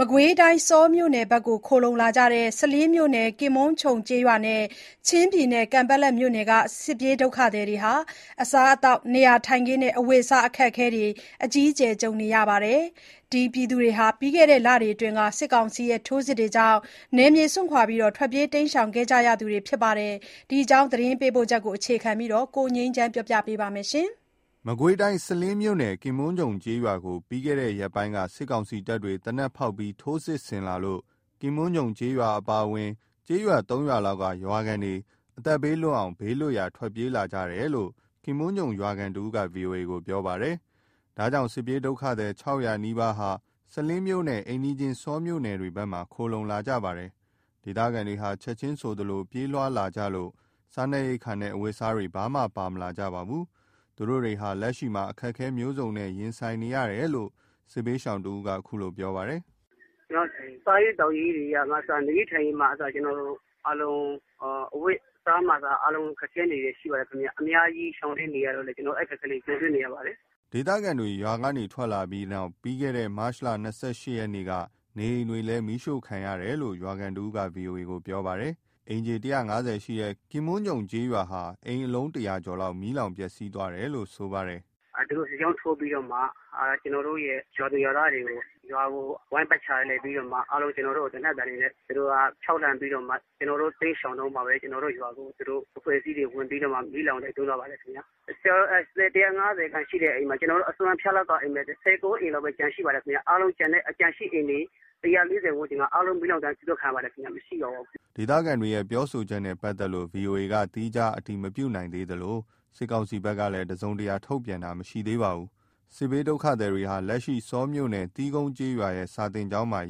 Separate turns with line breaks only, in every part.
မကွေးတိုင်း၊ ဆောမြို့နယ်ဘက်မှာ ခိုလှုံလာကြတဲ့ စလင်းမြို့နယ် ကင်ပွန်းခြုံကျေးရွာနဲ့ ချင်းပြည်နယ် ကန်ပက်လက်မြို့နယ်က စစ်ပြေးဒုက္ခသည်တွေဟာ အစားအသောက်၊ နေရာထိုင်းခင်နဲ့ အဝတ်အစား အခက်အခဲတွေ အကြီးအကျယ် ကြုံနေကြရပါတယ်။ ဒီလူတွေဟာ ပြီးခဲ့တဲ့လအတွင်း စစ်ကောင်စီရဲ့ ထိုးစစ်တွေကြောင့် နေရပ်စွန့်ခွာ ထွက်ပြေးခဲ့ကြရသူတွေ ဖြစ်ပါတယ်။ ဒီအကြောင်း သတင်းပေးပို့ချက်ကို အခြေခံပြီး ကိုငြိမ်းချမ်းက ပြောပြပေးပါမယ်။
မကွေးတိုင်း၊ စလင်းမြို့နယ် ကင်ပွန်းခြုံကျေးရွာကို ပြီးခဲ့တဲ့ ရက်ပိုင်းက စစ်ကောင်စီတပ်တွေ သေနတ်ဖောက်ပြီး ထိုးစစ်ဆင်လာလို့ ကင်ပွန်းခြုံကျေးရွာအပါအဝင် ကျေးရွာ ၃ရွာလောက်က ရွာခံတွေ အသက်ဘေးလွတ်အောင် ဘေးလွတ်ရာ ထွက်ပြေးလာကြတယ်လို့ ကင်ပွန်းခြုံရွာခံတဦးက VOA ကို ပြောပါတယ်။ ဒါကြောင့် စစ်ပြေးဒုက္ခသည် ၆၀၀ ဟာ စလင်းမြို့နဲ့ အိမ်နီးချင်း ဆောမြို့နယ်ဘက်ကို ခိုလှုံလာကြပါတယ်။ ဒေသခံတွေဟာ ချက်ချင်းဆိုသလို ပြေးလွှားလာကြလို့ စားနပ်ရိက္ခာနဲ့ အဝတ်အစားတွေ ဘာမှပါ မလာကြပါဘူး။ သူတို့တွေဟာ လက်ရှိမှာ အခက်အခဲမျိုးစုံ ရင်ဆိုင် ကြုံတွေ့နေရတယ်လို့ စစ်ရှောင်တဦးက ခုလို ပြောပါတယ်
။ “စားရေးသောက်ရေးတွေကအစ နေရေးထိုင်ရေးမှအစ ကျနော်တို့အားလုံး အဝတ်အစားမှအစ အားလုံးခက်ခဲနေတာ ရှိပါတယ်ခင်ဗျ။ အများကြီး ရှောင်တိမ်းနေရတော့လည်း ကျနော်တို့ အဲ့အခက်အခဲလေး ကြုံတွေ့နေပါတယ်။
” ဒေသခံတွေ ရွာကနေ ထွက်လာပြီးနောက် ပြီးခဲ့တဲ့ မတ်လ ၂၈ ရက်နေ့က နေအိမ်တွေ မီးရှို့ ခံရတယ်လို့လည်း ရွာခံတစ်ဦးက VOA ကို ပြောပါတယ်။ အိမ်ခြေ ၁၅၀ ရှိတဲ့ ကင်ပွန်းခြုံကျေးရွာဟာ အိမ်အလုံး ၁၀၀ ကျော် မီးလောင် ပျက်ဆီးသွားတယ်လို့ ဆိုပါတယ်။
“သူတို့ စစ်ကြောင်းထိုးပြီးတော့မှ ကျနော်တို့ရဲ့ ရွာသူရွာသားတွေနဲ့ ရွာကို ဝိုင်းပတ်ချာလည်ပြီးတော့မှ အားလုံး ကျနော်တို့ကို သေနတ်သံတွေနဲ့ သူတို့က ခြောက်လှန့်ပြီးတော့မှ ကျနော်တို့ တိမ်းရှောင်တုန်းမှာပဲ ကျနော်တို့ရွာကို သူတို့အဖွဲ့အစည်းတွေကို ဝင်ပြီးတော့မှ မီးလောင်တိုက်သွင်းဖို့ ကြိုးစားပါတော့တယ်ခင်ဗျာ။ ကျနော်တို့ အိမ်ခြေ ၁၅၀ ခန့်ရှိတဲ့အိမ်မှာ အစွန့်အဖျားလောက်အိမ်ပဲ ၁၉ အိမ်ပဲ ကျန်ရှိပါတော့တယ်ခင်ဗျ။ အားလုံးကျန်ရှိအိမ်တွေ ၁၄၀ ဝန်းကျင်လောက် အားလုံး မီးလောင်ဒဏ်ခံရပါတယ်ခင်ဗျ၊ မရှိတော့ဘူး
။” ဒေသခံတွေရဲ့ ပြောဆိုချက်နဲ့ ပတ်သက်လို့ VOA က သီးခြား အတည်မပြုနိုင်သေးသလို စစ်ကောင်စီဘက်ကလည်း တစုံတရာ ထုတ်ပြန်တာ မရှိသေးပါဘူး။ စစ်ပြေးဒုက္ခသည်တွေဟာ လက်ရှိ ဆောမြို့နယ် သီးကုံးကျေးရွာရဲ့ စာသင်ကျောင်းမှာ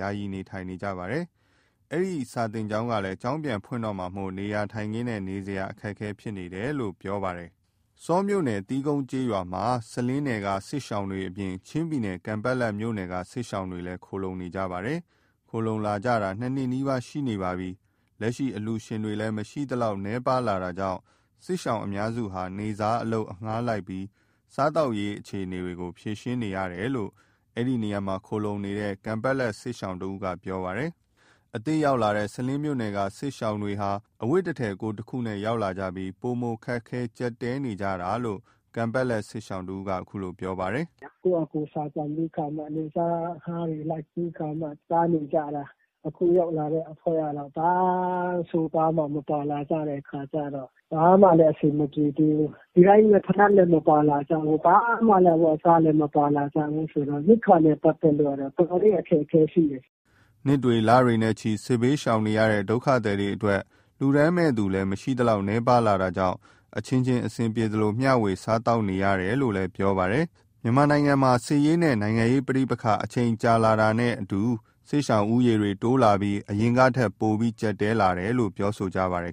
ယာယီ နေထိုင်နေကြပါတယ်။ အဲဒီ စာသင်ကျောင်းကလည်း ကျောင်းပြန်ဖွင့်တော့မှာမို့ နေရာထိုင်းခင်းနဲ့ နေစရာ အခက်အခဲ ဖြစ်နေကြတယ်လို့ ပြောပါတယ်။ အဲ့ဒီ ဆောမြို့နယ် သီးကုံးကျေးရွာဟာ စလင်းနယ်က စစ်ရှောင်အပြင် ချင်းပြည်နယ် ကန်ပတ်လက်မြို့နယ်က စစ်ရှောင်တွေလည်း ခိုလှုံနေကြတာပါ။ ခိုလှုံလာကြတာ ၂နှစ်နီးပါးရှိလာပါပြီ။ လက်ရှိ အလှူရှင်တွေ မရှိသလောက် နည်းပါးလာတာကြောင့် စစ်ရှောင်အများစုက နေ့စားအလုပ် အငှားလိုက်ပြီး စားသောက်ရေးအခြေအနေကို ဖြေရှင်းနေကြရတယ်လို့ အဲ့ဒီနေရာမှာ ခိုလှုံနေတဲ့ ကန်ပတ်လက် စစ်ရှောင်တဦးက ပြောပါတယ်။ အသစ်ရောက်ရှိလာတဲ့ စလင်းမြို့နယ်က စစ်ရှောင်တွေဟာ အဝတ်တစ်ထည် ကိုယ်တခုနဲ့ ရောက်လာကြပြီး ပိုမိုခက်ခဲ ကြပ်တည်းနေကြတာလို့ ကန်ပတ်လက် စစ်ရှောင်က ပြောပါတယ်။
“ကိုယ့်ဟာကိုယ် ရှာကြံပြီးခါမှ နေ့စား အငှားတွေလိုက်ပြီးခါမှ စားနေကြတာ။ အခုရောက်လာတဲ့အဖွဲ့က ဘာအဝတ်အစားမှ မပါလာကြတဲ့အခါကျတော့ ဘာမှလည်း အဆင်မပြေသေးဘူး။ ဒီတိုင်း ဖိနပ်လည်း မပါလာကြဘူး၊ ဘာမှအဝတ်အစားလည်း မပါမလာကြဘူးဆိုတော့ ရိက္ခာနဲ့ ပတ်သက်လို့ကတော့ တော်တော်လေး အခက်အခဲရှိတ
ယ်။” နှစ်တွေ၊ လတွေနဲ့ချီ စစ်ဘေးရှောင်နေကြရတဲ့ ဒုက္ခသည်တွေအတွက် လှူဒါန်းမယ့်သူလည်း မရှိသလောက် နည်းပါးလာတာကြောင့် အချင်းချင်း အဆင်ပြေသလို မျှဝေ စားသောက်နေကြရတယ်လို့ ပြောကြပါတယ်။ မြန်မာနိုင်ငံရဲ့ စစ်ရေးနဲ့ နိုင်ငံရေးပဋိပက္ခ အချိန်ကာလ ကြာလာတာနဲ့အတူ စစ်ရှောင်ဦးရေ တိုးများလာပြီး အရင်ကထက် ပိုမိုကြပ်တည်းလာတာလို့ ပြောဆိုကြပါတယ်